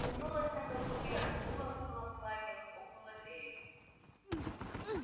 крутнулась на каблуке раздула куполом платье хлопнула дверью